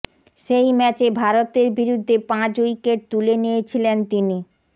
সেই ম্যাচে ভারতের বিরুদ্ধে পাঁচ উইকেট তুলে নিয়েছিলেন তিনি